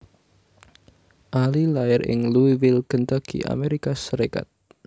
Ali lair ing Louisville Kentucky Amérika Sarékat